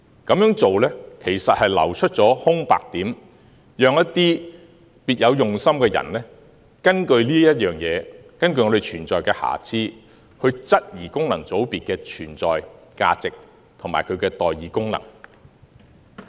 這樣做其實會流出空白點，讓一些別有用心的人根據我們存在的瑕疵，質疑功能界別的存在價值和代議功能。